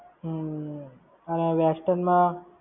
હમ્મ. અને western માં